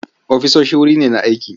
Ofisoshi wuri ne na aiki.